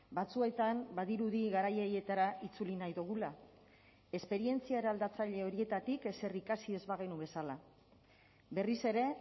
batzuetan badirudi garai haietara itzuli nahi dugula esperientzia eraldatzaile horietatik ezer ikasi ez bagenu bezala berriz ere